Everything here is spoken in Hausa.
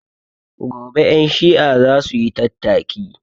Gobe ƴan shi'a zasuyi tattaki